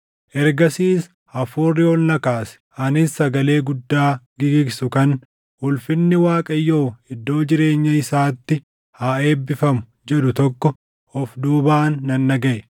Ergasiis Hafuurri ol na kaase; anis sagalee guddaa gigigsu kan, “Ulfinni Waaqayyoo iddoo jireenya isaatti haa eebbifamu!” jedhu tokko of duubaan nan dhagaʼe.